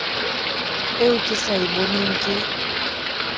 eo ke sa eboneng ke